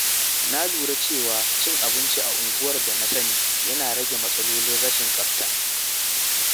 Na lura cewa cin abinci a unguwar da na sani yana rage matsalolin rashin tsafta.